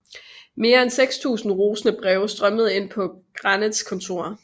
Mere end seks tusinde rosende breve strømmede ind på Granets kontor